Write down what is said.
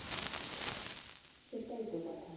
সেটাই তো কথা.